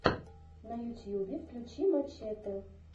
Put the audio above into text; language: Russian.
на ютьюбе включи мачэтэ